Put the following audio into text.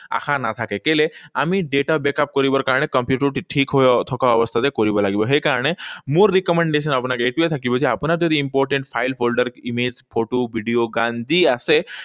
আশা নাথাকে। কেলে আমি data backup কৰিব কাৰণে কম্পিউটাৰটো ঠিক হৈ থকা অৱস্থাতে কৰিব লাগিব। সেইকাৰণে মোৰ recommendations আপোনাক এইটোৱেই থাকিব যে আপোনাৰ যদি important file, folder, image, photo, video, গান যি আছে,